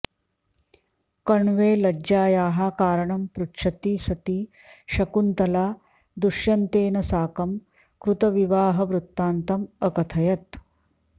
कण्वे लज्जायाः कारणं पृच्छति सति शकुन्तला दुश्यन्तेन साकं कृतविवाहवृत्तन्तं अकथयत्